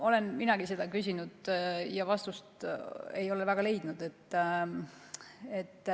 Olen minagi seda küsinud ja vastust ei ole väga leidnud.